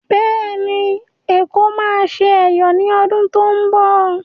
Bẹ́ẹ̀ ni, Èkó máa ṣe Ẹ̀yọ̀ ní Ọdún tó ń bọ̀.